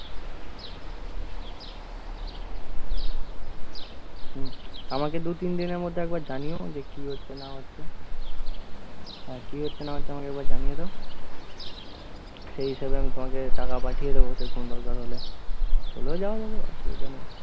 আমাকে দুতিনদিন এর মধ্যে একবার জানিও যে কী হচ্ছে না হচ্ছে আর কী হচ্ছে না হচ্ছে আমাকে একবার জানিও তো তো সে হিসাবে আমি তোমাকে টাকা পাঠিয়ে দেবো, তখন দরকার হলে দেওয়া যাবে অসুবিধা নেই